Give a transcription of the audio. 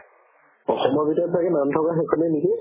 অসমৰ ভিতৰতে নাম থকা সেইখনে নেকি